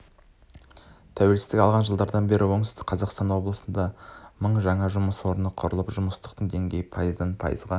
тәуелсіздік алған жылдардан бері оңтүстік қазақстан облысында мың жаңа жұмыс орны құрылып жұмыссыздық деңгейі пайыздан пайызға